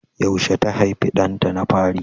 Yaushe ta haifi ɗanta na fari?